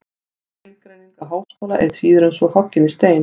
Skilgreining á háskóla er síður en svo hoggin í stein.